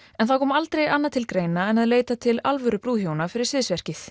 það koma aldrei annað til greina en að leita til alvöru brúðhjóna fyrir